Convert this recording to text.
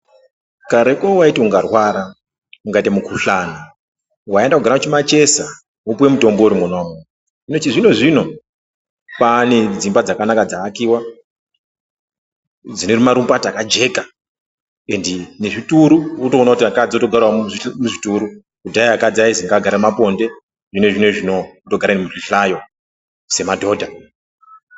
Kareko waiti ungarwara ungaita mukhuhlani waienda kundogara kumachesa wopuwe mutombo uri mwona umu, chizvino-zvino kwane dzimba dzakanaka dzaakiwa dzinee marukumbati akajeka endi nezvituru wotoona kuti akadzi akugarawo muzvituru. Kudhaya akadzi aizi ngagare mumaponde hino zvinezvi unowu otogara nemuzvihlayo semadhodha.